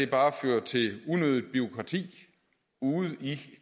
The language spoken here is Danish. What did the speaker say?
bare fører til unødigt bureaukrati ude i